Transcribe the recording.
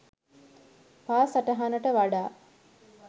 පා සටහනට වඩා